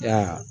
Ya